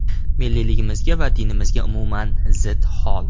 Milliyligimizga va dinimizga umuman zid hol.